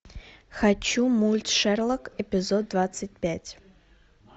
хочу мульт шерлок эпизод двадцать пять